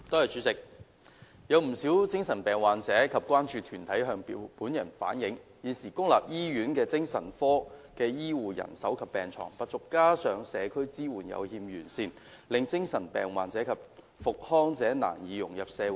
主席，有不少精神病患者及關注團體向本人反映，現時公立醫院精神科的醫護人手及病床不足，加上社區支援有欠完善，令精神病患者及康復者難以融入社會。